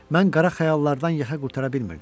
Mən qara xəyallardan yaxa qurtara bilmirdim.